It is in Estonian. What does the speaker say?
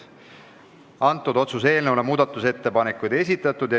Selle otsuse eelnõu kohta muudatusettepanekuid ei esitatud.